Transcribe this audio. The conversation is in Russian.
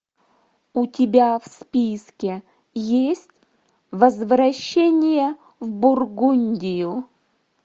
у тебя в списке есть возвращение в бургундию